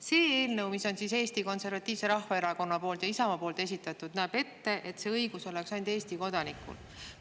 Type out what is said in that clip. See eelnõu, mis on Eesti Konservatiivse Rahvaerakonna ja Isamaa esitatud, näeb ette, et see õigus oleks ainult Eesti kodanikel.